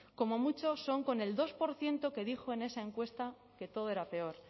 como mucho son con el dos por ciento que dijo en esa encuesta que todo era peor